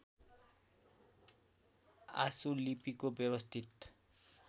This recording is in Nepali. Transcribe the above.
आशु लिपिको व्यवस्थित